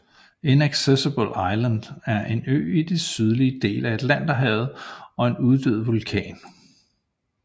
Inaccessible Island er en ø i den sydlige del af Atlanterhavet og en uddød vulkan